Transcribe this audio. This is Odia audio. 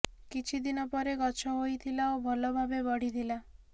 କିଛି ଦିନ ପରେ ଗଛ ହୋଇଥିଲା ଓ ଭଲ ଭାବେ ବଢ଼ିଥିଲା